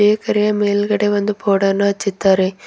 ಮೇಲ್ಗಡೆ ಒಂದು ಬೋರ್ಡ್ ಅನ್ನು ಹಚ್ಚಿದ್ದಾರೆ.